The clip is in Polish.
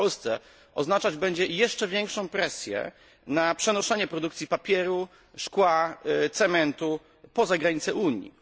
w Polsce oznaczać będzie jeszcze większą presję na przenoszenie produkcji papieru, szkła, cementu poza granice Unii.